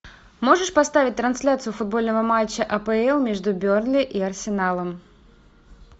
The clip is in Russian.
можешь поставить трансляцию футбольного матча апл между бернли и арсеналом